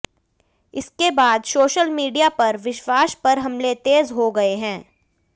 इसके बाद social media पर विश्वास पर हमले तेज हो गये हैं